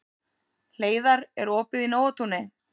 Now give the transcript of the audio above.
Hleiðar, er opið í Nóatúni?